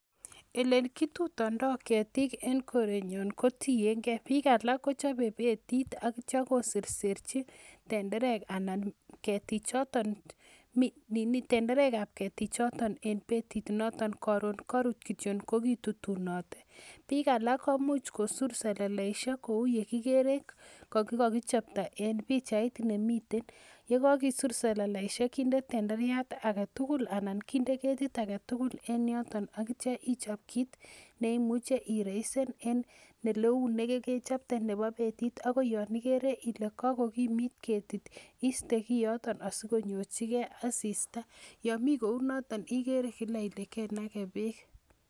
Ele kitudoito ketik en korenyon kotiyen gee bik alak kochobe betit ak ityo koserserchi tenderek anan ketik choton ,tenderek ab ketik choton en betit noton korun korut kityok ko kitutunote, bik alak komuch kosur seleleishek kou yekikere ole kokokijopto en pichait nemiten, yekokisur seleleishek kindet tenderiat aketukul anan kinde keti aketukul en yoton ak ityo ichop kit neimuche ireisen en eleu nekekechopte nebo betit akoi yon ikere ile kokokimit ketit iste kioto sikonyorchi gee asista yon mii kou noto iker kila ile kenake beek.